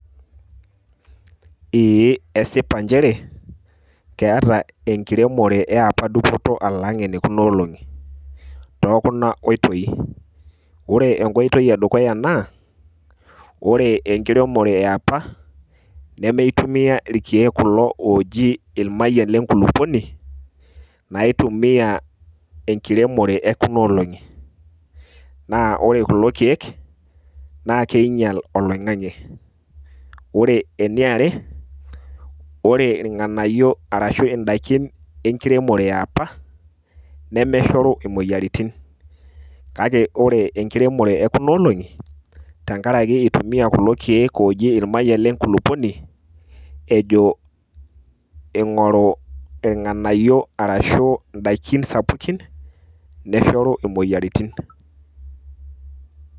Ee esipa njere keeta enkiremore e apa dupoto alang' enekunoolong'i tokuna oitoi; ore enkoitoi edukuya naa, ore enkiremore e apa nemeitumia irkeek kulo ooji ilmayian le nkulukuoni, naitumia enkiremore ekunoolong'i. Na ore kulo keek na keinyal oloing'ang'e. Ore eniare, ore irng'anayio arashu idaiki enkiremore e apa, nemeshoru imoyiaritin. Kake ore enkiremore ekunoolong'i, tenkaraki eitumia kulo keek oji ilmayian le nkulukuoni, ejo eing'oru irng'anayio arashu idaikin sapukin neshoru imoyiaritin.